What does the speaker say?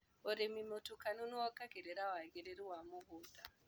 ũrĩmi mũtukanu nĩwongagĩrira wagĩrĩru wa mũgunda.